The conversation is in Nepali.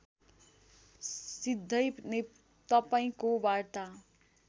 सिधै तपाईँको वार्ता